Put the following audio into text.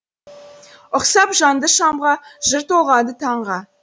ұқсап жанды шамға жыр толғады таңға